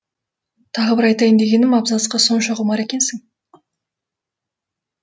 тағы бір айтайын дегенім абзацқа сонша құмар екенсің